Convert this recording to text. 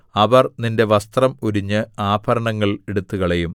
അവർ നിന്റെ വസ്ത്രം ഉരിഞ്ഞ് ആഭരണങ്ങൾ എടുത്തുകളയും